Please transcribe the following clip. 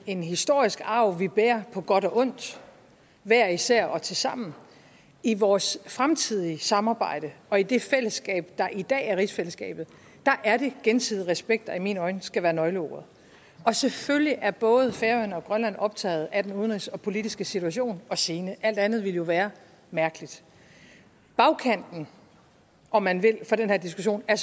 en historisk arv vi bærer på godt og ondt hver især og tilsammen i vores fremtidige samarbejde og i det fællesskab der i dag er rigsfællesskabet er det gensidig respekt der i mine øjne skal være nøgleordet og selvfølgelig er både færøerne og grønland optaget af den udenrigspolitiske situation og scene alt andet ville jo være mærkeligt bagkanten om man vil for den her diskussion er